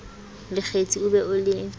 lekgethi o be o le